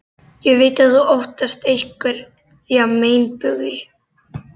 Ég veit að þú óttast einhverja meinbugi.